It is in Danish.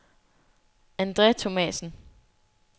Andre Thomasen